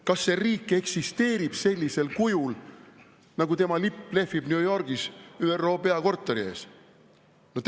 Kas see riik eksisteerib sellisel kujul, nagu tema lipp lehvib New Yorgis ÜRO peakorteri ees?